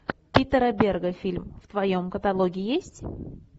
питера берга фильм в твоем каталоге есть